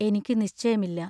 എനിക്കു നിശ്ചയമില്ല.